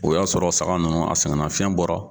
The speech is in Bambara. O y'a sɔrɔ saga ninnu a sɛgɛn nafiyɛn bɔra.